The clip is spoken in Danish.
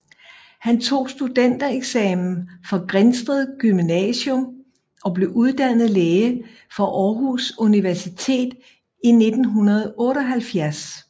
Han tog studentereksamen fra Grindsted Gymnasium og blev uddannet læge fra Aarhus Universitet i 1978